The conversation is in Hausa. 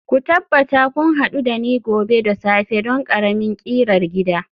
ku tabbata kun hadu da ni gobe da safe don ƙaramin ƙirar gida